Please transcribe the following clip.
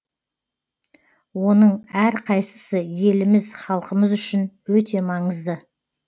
оның әр қайсысы еліміз халқымыз үшін өте маңызды